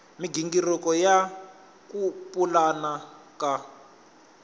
migingiriko ya ku pulana ka